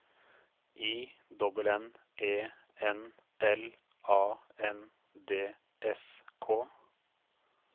I N N E N L A N D S K